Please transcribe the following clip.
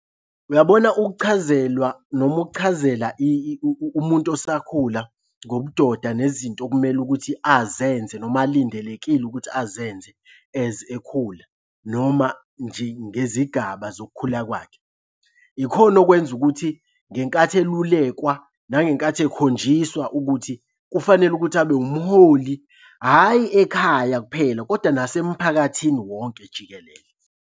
Uyabona ukuchazelwa noma ukuchazela umuntu osakhula ngobudoda nezinto okumele ukuthi azenze noma alindelekile ukuthi azenze as ekhula noma nje ngezigaba zokukhula kwakhe. Ikhona okwenza ukuthi ngenkathi elulekwa nangenkathi ekhonjiswa ukuthi kufanele ukuthi abe umholi hhayi ekhaya kuphela koda nasemphakathini wonke jikelele.